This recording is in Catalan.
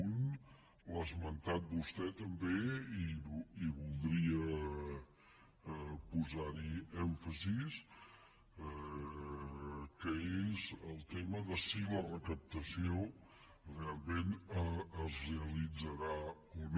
un l’ha esmentat vostè també i voldria posar hi èmfasi que és el tema de si la recaptació realment es realitzarà o no